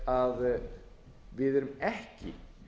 að við erum ekki